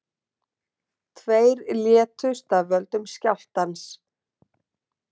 Tveir létust af völdum skjálftans